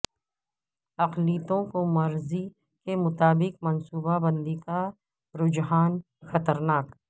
اقلیتوں کو مرضی کے مطابق منصوبہ بندی کا رجحان خطرناک